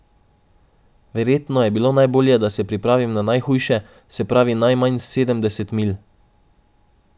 Verjetno je bilo najbolje, da se pripravim na najhujše, se pravi najmanj sedemdeset milj.